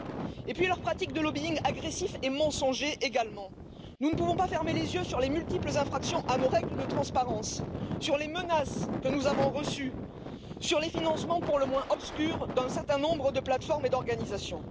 Quant à leurs pratiques de lobbying agressif et mensonger, nous ne pouvons plus fermer les yeux sur les multiples infractions à nos règles de transparence, sur les menaces que nous avons reçues, sur les financements pour le moins obscurs d'un certain nombre de plateformes et d'organisations.